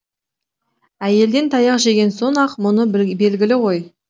әйелден таяқ жеген соң ақ мұны белгілі ғой